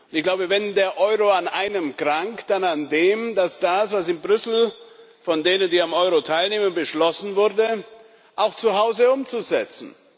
Ich glaube, wenn der Euro an einem krankt, dann daran, das, was in Brüssel von denen, die am Euro teilnehmen, beschlossen wurde, auch zu Hause umzusetzen.